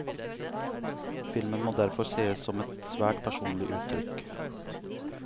Filmen må derfor sees som et svært personlig uttrykk.